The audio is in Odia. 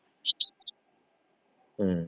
ହୁଁ